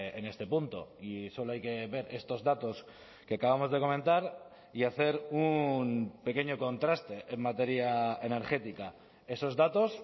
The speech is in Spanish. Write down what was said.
en este punto y solo hay que ver estos datos que acabamos de comentar y hacer un pequeño contraste en materia energética esos datos